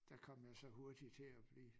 Der kom jeg så hurtigt til at blive